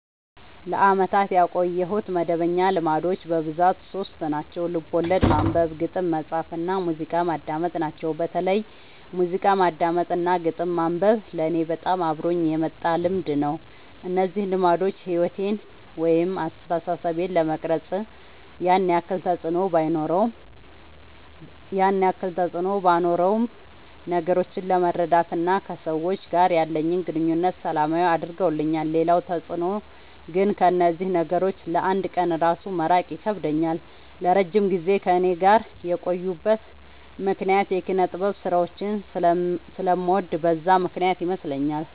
ለአመታት ያቆየሁት መደበኛ ልማዶች በብዛት ሶስት ናቸው። ልቦለድ ማንበብ፣ ግጥም መፃፍ እና ሙዚቃ ማዳመጥ ናቸው። በተለይ ሙዚቃ ማዳመጥ እና ግጥም ማንበብ ለኔ በጣም አብሮኝ የመጣ ልምድ ነው። እነዚህ ልማዶች ሕይወቴን ወይም አስተሳሰቤን ለመቅረጽ ያን ያክል ተፅዕኖ ባኖረውም ነገሮችን ለመረዳት እና ከሰዎች ጋር ያለኝን ግንኙነት ሰላማዊ አድርገውልኛል ሌላው ተፅዕኖ ግን ከእነዚህ ነገሮች ለ አንድ ቀን እራሱ መራቅ ይከብደኛል። ለረጅም ጊዜ ከእኔ ጋር የቆዩበት ምክንያት የኪነጥበብ ስራዎችን ስለምወድ በዛ ምክንያት ይመስለኛል።